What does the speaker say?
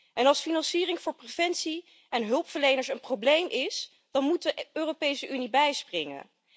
En als financiering voor preventie en hulpverleners een probleem is, dan moet de Europese Unie bijspringen.